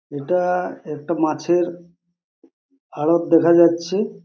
এটা একটা মাছের আড়ত দেখা যাচ্ছে।